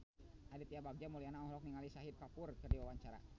Aditya Bagja Mulyana olohok ningali Shahid Kapoor keur diwawancara